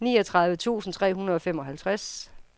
niogtredive tusind tre hundrede og femoghalvtreds